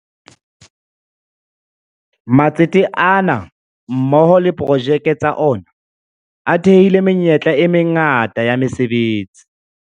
Matsete ana mmoho le diprojeke tsa ona a thehile menyetla e mangata ya mese betsi.